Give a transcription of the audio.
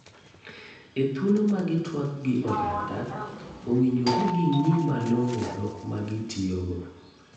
E thuolo ma gi tuak gi oganda ,owinjore gi ngi malongo dhok ma gi tiyo go.